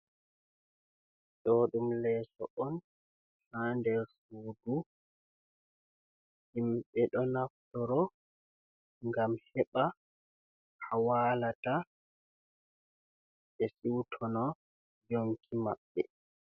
Ɗo ɗum leeso on ha nder sudu himɓe, ɗo naftoro ngam heɓa ha walata ɓe siutina yonki maɓɓe.